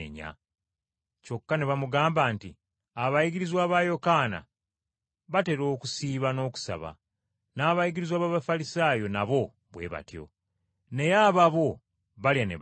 Kyokka ne bamugamba nti, “Abayigirizwa ba Yokaana batera okusiiba n’okusaba. N’abayigirizwa b’Abafalisaayo nabo bwe batyo. Naye ababo balya ne banywa.”